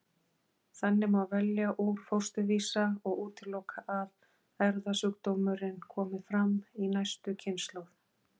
Þannig má velja úr fósturvísa og útiloka að erfðasjúkdómurinn komi fram í næstu kynslóð.